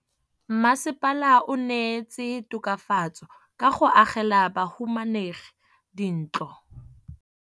Mmasepala o neetse tokafatsô ka go agela bahumanegi dintlo.